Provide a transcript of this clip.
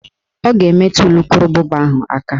Ọ ga-emetu ulukurububa ahụ aka